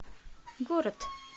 город